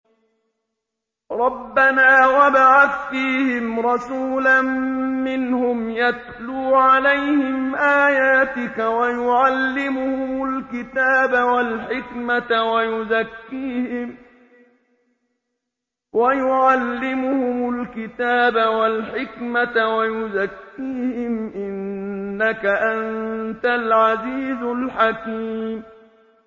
رَبَّنَا وَابْعَثْ فِيهِمْ رَسُولًا مِّنْهُمْ يَتْلُو عَلَيْهِمْ آيَاتِكَ وَيُعَلِّمُهُمُ الْكِتَابَ وَالْحِكْمَةَ وَيُزَكِّيهِمْ ۚ إِنَّكَ أَنتَ الْعَزِيزُ الْحَكِيمُ